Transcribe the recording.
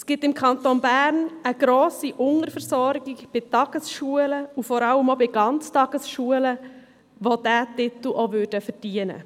Es gibt im Kanton Bern eine grosse Unterversorgung bei Tagesschulen und vor allem auch bei Ganztagesschulen, die diesen Titel verdienen würden.